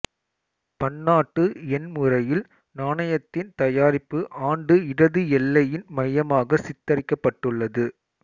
பன்னாட்டு எண் முறையில் நாணயத்தின் தயாரிப்பு ஆண்டு இடது எல்லையின் மையமாக சித்தரிக்கப்பட்டுள்ளது